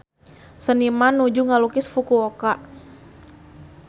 Seniman nuju ngalukis Fukuoka